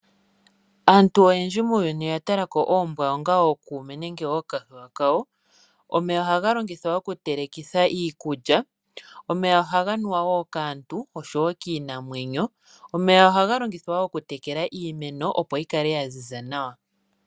Aantu oyendji muuyuni oya tala ko oombwa onga ookuume nenge ookahewa kawo. Omeya oha ga longithwa okutelekitha iikulya. Omeya oha ga nuwa wo kaantu osho wo kiinamwenyo. Omeya oha ga longithwa okutekela iimeno opo yi kale ya ziza nawa.